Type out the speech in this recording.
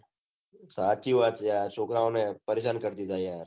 હાચી વાત છે આ છોકરાઓ ને પરેશાન કરી દીઘા છે